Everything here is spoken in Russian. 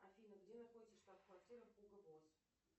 афина где находится штаб квартира хуго босс